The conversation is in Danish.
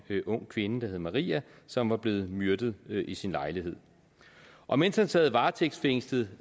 ung kvinde der hed maria som var blevet myrdet i sin lejlighed og mens han sad varetægtsfængslet